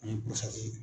Ani